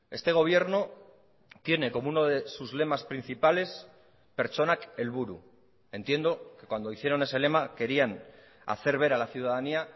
este gobierno tiene como uno de sus lemas principales pertsonak helburu entiendo que cuando hicieron ese lema querían hacer ver a la ciudadanía